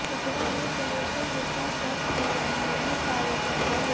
इतना ही जनेश्वर मिश्रा ट्रस्ट भवन में भी कार्यक्रम होंगे